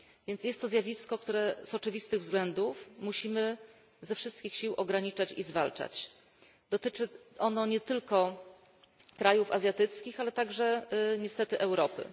Jest to więc zjawisko, które z oczywistych względów musimy ze wszystkich sił ograniczać i zwalczać. Dotyczy ono nie tylko krajów azjatyckich, ale także niestety Europy.